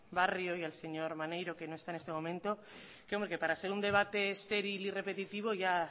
barrio y al señor maneiro que no está en este momento que para ser un debate estéril y repetitivo ya